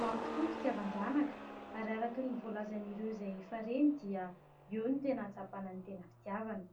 Mamy tokoa ny fitiavan-janaka, ary araka ny voalazan'ireo izay efa reny dia eo no tena ahatsapana ny tena fitiavana.